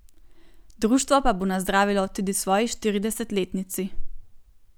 Društvo pa bo nazdravilo tudi svoji štiridesetletnici.